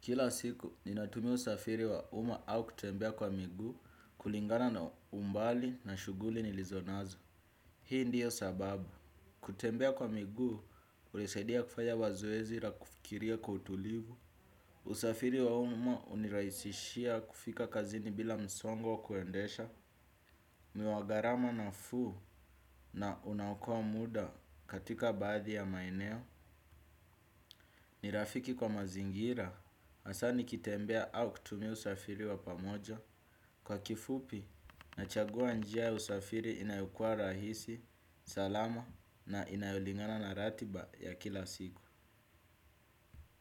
Kila siku, ninatumia usafiri wa uma au kutembea kwa miguu kulingana na umbali na shughuli nilizo nazo. Hii ndiyo sababu. Kutembea kwa miguu, hunisaidia kufanya mazoezi na kufikiria kwa utulivu. Usafiri wa uma hunirahisishia kufika kazini bila msongo wa kuendesha. Ni wa gharama nafuu na unaokoa muda katika baadhi ya maeneo. Ni rafiki kwa mazingira, hasa nikitembea au kutumia usafiri wa pamoja, kwa kifupi nachagua njia ya usafiri inayokua rahisi, salama na inayolingana na ratiba ya kila siku.